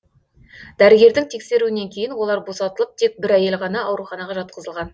дәрігердің тексеруінен кейін олар босатылып тек бір әйел ғана ауруханаға жатқызылған